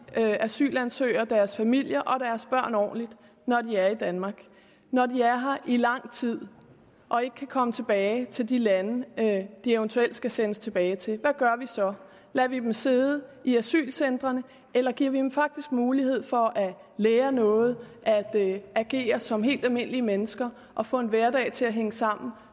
vi asylansøgere og deres familier og deres børn ordentligt når de er i danmark når de er her i lang tid og ikke kan komme tilbage til de lande de eventuelt skal sendes tilbage til hvad gør vi så lader vi dem sidde i asylcentrene eller giver vi dem faktisk mulighed for at lære noget at agere som helt almindelige mennesker og få en hverdag til at hænge sammen